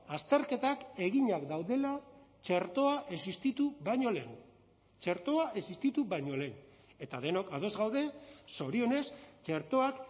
azterketak eginak daudela txertoa existitu baino lehen txertoa existitu baino lehen eta denok ados gaude zorionez txertoak